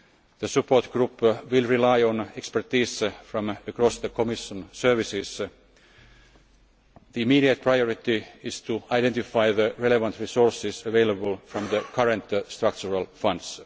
The Support Group will rely on expertise from across the Commission services. The immediate priority is to identify the relevant resources available from the current structural